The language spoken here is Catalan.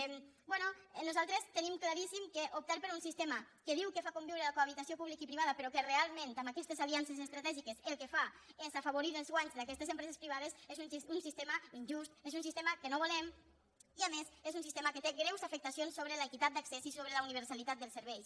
bé nosaltres tenim claríssim que optar per un sistema que diu que fa conviure la cohabitació pública i privada però que realment amb aquestes aliances estratègiques el que fa és afavorir els guanys d’aquestes empreses privades és un sistema injust és un sistema que no volem i a més és un sistema que té greus afectacions sobre l’equitat d’accés i sobre la universalitat dels serveis